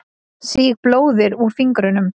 Sýg blóðið úr fingrinum.